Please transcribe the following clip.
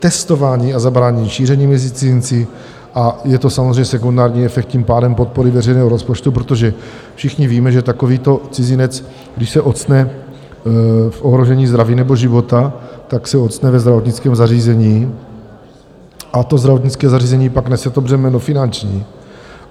Testování a zabránění šíření mezi cizinci, a je to samozřejmě sekundární efekt, tím pádem podpory veřejného rozpočtu, protože všichni víme, že takovýto cizinec, když se octne v ohrožení zdraví nebo života, tak se octne ve zdravotnickém zařízení a to zdravotnické zařízení pak nese to břemeno finanční.